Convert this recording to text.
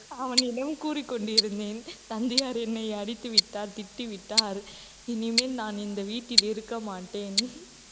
அவனிடம் கூறிக் கொண்டு இருந்தேன் தந்தையார் என்னை அடித்து விட்டார் திட்டி விட்டார் இனிமேல் நான் இந்த வீட்டில் இருக்க மாட்டேன்